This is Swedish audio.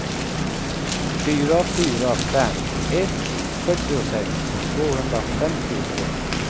fyra fyra fem ett fyrtiosex tvåhundrafemtiotvå